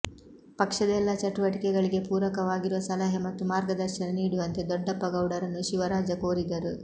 ಪಕ್ಷದ ಎಲ್ಲ ಚಟುವಟಿಕೆಗಳಿಗೆ ಪೂರಕವಾಗಿರುವ ಸಲಹೆ ಮತ್ತು ಮಾರ್ಗದರ್ಶನ ನೀಡುವಂತೆ ದೊಡ್ಡಪ್ಪಗೌಡರನ್ನು ಶಿವರಾಜ ಕೋರಿದರು